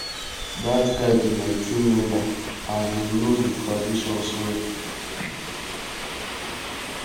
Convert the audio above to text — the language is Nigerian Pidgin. dat guy be my team member and he no the traditions well